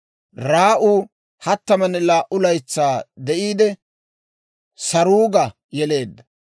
Raa'u 32 laytsaa de'iide, Saruuga yeleedda;